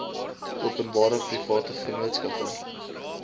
openbare private vennootskappe